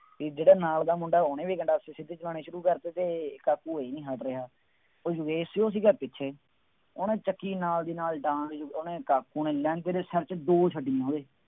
ਬਈ ਜਿਹੜਾ ਨਾਲ ਦਾ ਮੁੰਡਾ ਉਹਨੇ ਵੀ ਗੰਡਾਸੀ ਸਿੱਧੀ ਚਲਾਉਣੀ ਸ਼ੁਰੂ ਕਰਤੀ ਅਤੇ ਕਾਕੂ ਇਹ ਨਹੀਂ ਹੱਟ ਰਿਹਾ। ਉਹ ਯੋਗੇਸ਼ ਸੀ ਉਹ ਸੀਗਾ ਪਿੱਛੇ, ਉਹਨੇ ਚੱਕੀ ਨਾਲ ਦੀ ਨਾਲ ਡਾਂਗ, ਉਹਨੇ ਕਾਕੂ ਨੇ ਦੇ ਸਿਰ ਚ ਦੋ ਛੱਡੀਆਂ।